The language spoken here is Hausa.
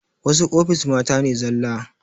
Wasu ofis mata ne zala